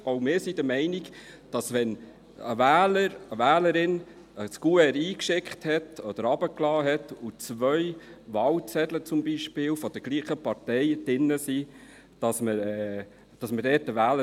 Auch wir sind aber der Meinung, dass man den Wählerwillen kennen sollte, wenn ein Wähler, eine Wählerin ein Kuvert eingeschickt oder eingeworfen hat, das zum Beispiel zwei Wahlzettel derselben Partei enthält.